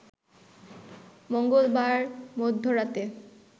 মঙ্গলবার মধ্যরাতে